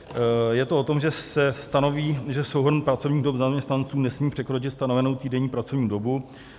Je to o tom, že se stanoví, že souhrn pracovních dob zaměstnanců nesmí překročit stanovenou týdenní pracovní dobu.